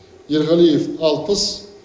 ерғалиев алпыс